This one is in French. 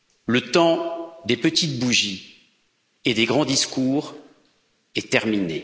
Le temps des petites bougies et des grands discours est terminé.